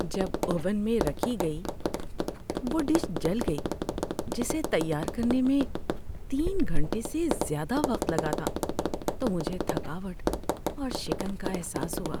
جب اوون میں رکھی گئی وہ ڈش جل گئی جسے تیار کرنے میں تین گھنٹے سے زیادہ وقت لگا تھا تو مجھے تھکاوٹ اور شکن کا احساس ہوا۔